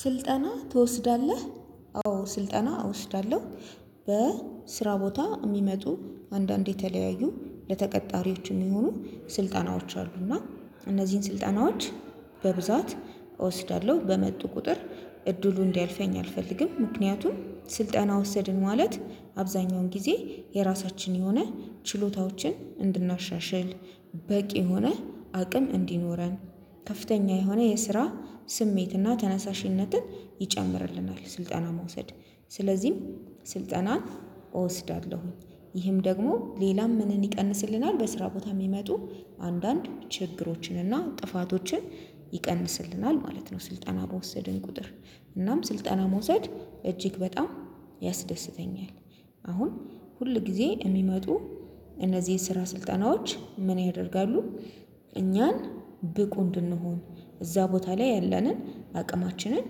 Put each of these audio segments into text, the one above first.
ስልጠና ትወስዳለህ አዎ ስልጠና እወስዳለሁ። በስራ ቦታ የሚመጡ አንዳንዴ የተለያዩ ለተቀጣሪዎችም የሆኑ ስልጠናዎች አሉ። እና እነዚህን ስልጠናዎች በብዛት እወስዳለሁ በመጡ ቁጥር እድሉ እንዲያልፈኝ አልፈልግም። ምክንያቱም ስልጠና ወሰድን ማለት አብዛኛውን ጊዜ የራሳችን የሆነ ችሎታዎችን እንድናሻሽል በቂ የሆነ አቅም እንዲኖረን ከፍተኛ የሆነ የስራ ስሜትና ተነሳሽነትን ይጨምርልናል። ስልጠና መውሰድ ስለዚህም ስልጠናን እወስዳለሁኝ ይህም ደግሞ ሌላም ምንን ይቀንስልናል በስራ ቦታ የሚመጡ አንዳንድ ችግሮችን እና ጥፋቶችን ይቀንስልናል ማለት ነው። ስልጠና በወሰድን ቁጥር እናም ስልጠና መውሰድ እጅግ በጣም ያስደስተኛል። አሁን ሁል ጊዜ የሚመጡ እነዚህ የስራ ስልጠናዎች ምን ያደርጋሉ? እኛን ብቁ እንድንሆን እዛ ቦታ ላይ ያለንን አቅማችንን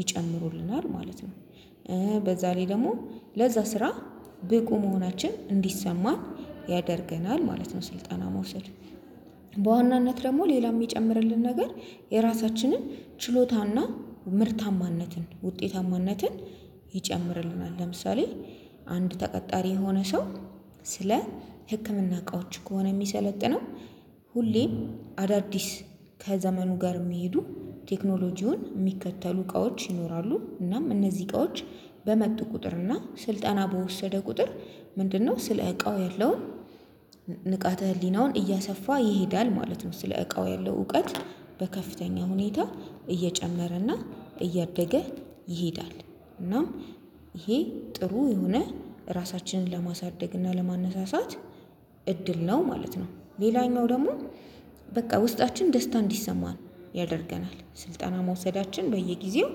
ይጨምሩልናል ማለት ነው በዛ ላይ ደግሞ ለዛ ስራ ብቁ መሆናችን እንዲሰማን ያደርገናል ማለት ነው። ስልጠና መውሰድ በዋናነት ደግሞ ሌላ የሚጨምርልን ነገር የራሳችንን ችሎታና ምርታማነትን ውጤታማነትን ይጨምርልናል። ለምሳሌ አንድ ተቀጣሪ የሆነ ሰው ስለ ህክምና እቃዎች ከሆነ የሚሰለጥነው ሁሌ አዳዲስ ከዘመኑ ጋር የሚሄዱ ቴክኖሎጂውን የሚከተሉ እቃዎች ይኖራሉ። እናም እነዚህ እቃዎች በመጡ ቁጥር እና ስልጠና በወሰደ ቁጥር ምንድነው? ስለ እቃው ያለው ያለውን ንቃተ ህሊናውን እያሰፋ ይሄዳል ማለት ነው። ስለ እቃው ያለው እውቀት በከፍተኛ ሁኔታ እየጨመረና እያደገ ይሄዳል። እናም ይሄ ጥሩ የሆነ ራሳችንን ለማሳደግ እና ለማነሳሳት እድል ነው ማለት ነው። ሌላኛው ደግሞ በቃ ውስጣችን ደስታ እንዲሰማን ያደርገናል ስልጠና መውሰዳችን በየጊዜው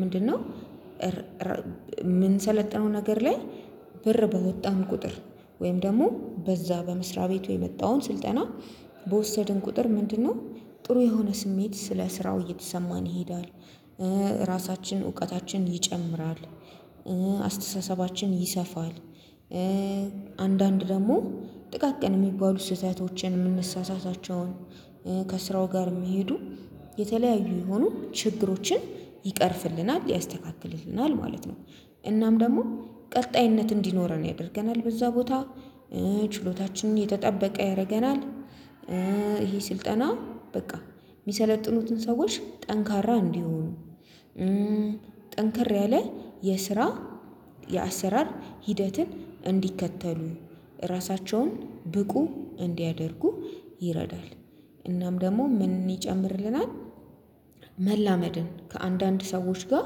ምንድነው? የምንሰለጥነው ነገር ላይ ብር በወጣን ቁጥር ወይም ደግሞ በዛ በመስሪያ ቤቱ የመጣውን ስልጠና በወሰድን ቁጥር ምንድነው? ጥሩ የሆነ ስሜት ስለ ስራው እየተሰማን ይሄዳል። ራሳችን እውቀታችን ይጨምራል። አስተሳሰባችን ይሰፋል። አንዳንድ ደግሞ ጥቃቅን የሚባሉ ስህተተዎችን የምንሳሳታቸውን ከስራው ጋር የሚሄዱ የተለያዩ የሆኑ ችግሮችን ይቀርፍልናል ያስተካክልልናል ማለት ነው። እናም ደግሞ ቀጣይነት እንዲኖረን ያደርገናል በዛ ቦታ ችሎታችንን የተጠበቀ ያደርገናል። ይሄ ስልጠና በቃ የሚሰለጥኑትን ሰዎች ጠንካራ እንዲሆኑ ጠንክር ያለ የስራ የአሰራር ሂደትን እንዲከተሉ ራሳቸውን ብቁ እንዲያደርጉ ይረዳል። እናም ደግሞ ምን ይጨምርልናል? መላመድን ከአንዳንድ ሰዎች ጋር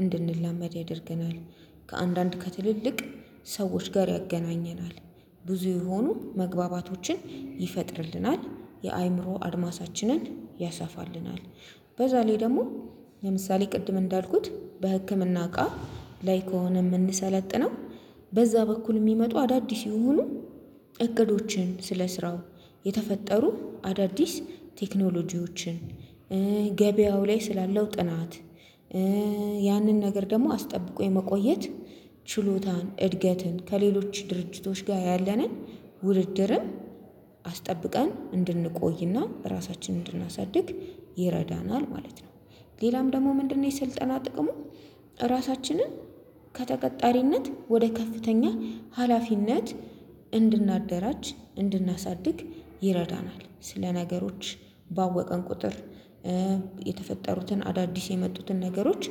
እንድንለምድ ያደርገናል። ከአንዳንድ ከትልልቅ ሰዎች ጋር ያገናኘናል። ብዙ የሆኑ መግባባቶችን ይፈጥርልናል የአእምሮ አድማሳችንን ያሰፋልናል። በዛ ላይ ደግሞ ለምሳሌ ቅድም እንዳልኩት በህክምና እቃ ላይ ከሆነ የምንሰለጥነው በዛ በኩል የሚመጡ አዳዲስ ይሁኑ እቅዶችን ስለስራው የተፈጠሩ አዳዲስ ቴክኖሎጂዎችን ገበያው ላይ ስላለው ጥናት ያንን ነገር ደግሞ አስጠብቆ የመቆየት ችሎታን እድገትን ከሌሎች ድርጅቶች ጋር ያለንን ውድድርም አስጠብቀን እንድንቆይና ራሳችንን እንድናሳድግ ይረዳናል። ማለት ነው። ሌላም ደግሞ ምንድነው? የስልጠና ጥቅሙ ራሳችንን ከተቀጣሪነት ወደ ከፍተኛ ሀላፊነት እንድናደራጅ እንድናሳድግ ይረዳናል። ስለ ነገሮች ባወቀን ቁጥር የተፈጠሩትን አዳዲስ የመጡትን ነገሮች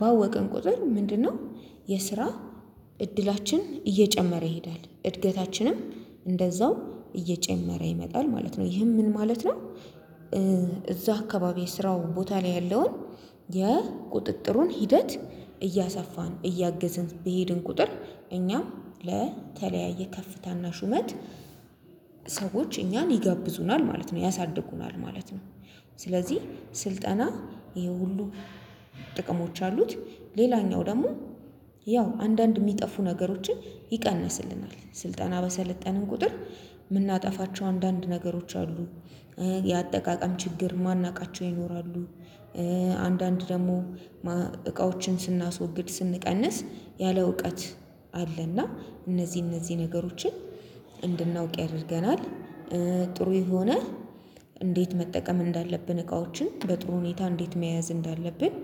ባወቀን ቁጥር ምንድነው? የስራ እድላችን እየጨመረ ይሄዳል እድገታችንም እንደዛው እየጨመረ ይመጣል ማለት ነው። ይህም ምን ማለት ነው? እዛ አካባቢ ስራው ቦታ ላይ ያለውን የቁጥጥሩን ሂደት እያሰፋን እያገዝን በሄድን ቁጥር እኛም ለተለያየ ከፍታና ሹመት ሰዎች እኛን ይጋብዙናል ማለት ነው ያሳድጉናል ማለት ነው። ስለዚህ ስልጠና ይሄ ሁሉ ጥቅሞች አሉት። ሌላኛው ደግሞ ያው አንዳንድ የሚጠፉ ነገሮችን ይቀንስልናል ስልጠና በሰለጠነን ቁጥር የምናጠፋቸው አንዳንድ ነገሮች አሉ። የአጠቃቀም ችግር ማናውቃቸው ይኖራሉ። አንዳንድ ደግሞ እቃዎችን ስናስወግድ ስንቀንስ ያለ እውቀት አለና እነዚህ እነዚህ ነገሮችን እንድናውቅ ያደርገናል። ጥሩ የሆነ እንዴት መጠቀም እንዳለብን እቃዎችን በጥሩ ሁኔታ እንዴት መያዝ እንዳለብን